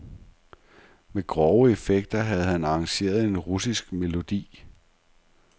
Med grove effekter havde han arrangeret en russisk melodi.